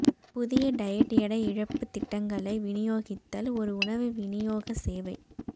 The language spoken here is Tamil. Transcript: புதிய டயட் எடை இழப்புத் திட்டங்களை விநியோகித்தல் ஒரு உணவு விநியோக சேவை